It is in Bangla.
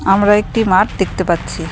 আমরা একটি মাঠ দেখতে পাচ্ছি।